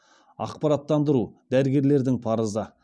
ақпараттандыру дәрігерлердің парызы